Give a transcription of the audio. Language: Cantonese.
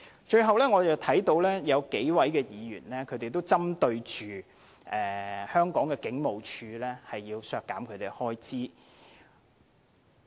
最後，我看到有數位議員均針對香港警務處並且要削減其開支。